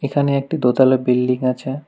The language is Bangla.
এখানে একটি দোতলা বিল্ডিং আছে।